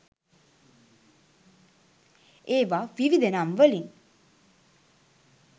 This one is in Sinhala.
ඒවා විවිධ නම් වලින්